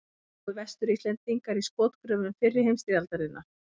Dóu Vestur-Íslendingar í skotgröfum fyrri heimstyrjaldarinnar?